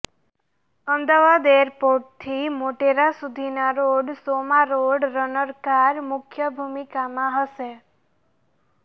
અમદાવાદ એરપોર્ટથી મોટેરા સુધીના રોડ શોમાં રોડ રનર કાર મુખ્ય ભૂમિકામાં હશે